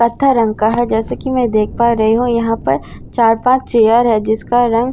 पथर रंग का है जैसे की मैं देख पा रही हूँ यहाँ पर चार पाँच चेयर है जिसका रंग --